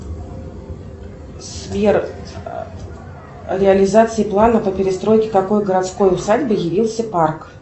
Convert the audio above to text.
сбер реализация плана по перестройке какой городской усадьбы явился парк